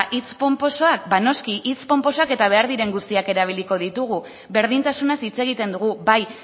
hitz ponposoak ba noski hitz ponposoak eta behar diren guztiak erabiliko ditugu berdintasunez hitz egiten dugu bai